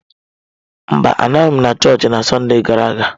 Mba, anọghị m na chọọchị na Sọnde gara aga.